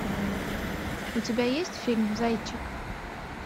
у тебя есть фильм зайчик